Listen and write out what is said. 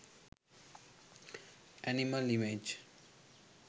animal image